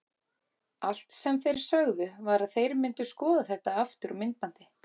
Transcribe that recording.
Allt sem þeir sögðu var að þeir myndu skoða þetta aftur á myndbandi.